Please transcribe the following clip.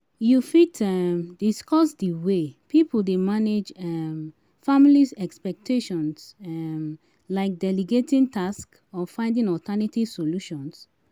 You fit um discuss di way people dey manage um family expectations, um like delegating tasks or finding alternative solutions?